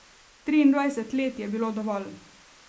Triindvajset let je bilo dovolj.